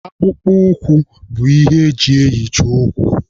Akpụkpọ ụkwụ bụ ihe eji eyichi ụkwụ